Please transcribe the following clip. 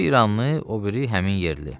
Biri İranlı, o biri həmin yerli.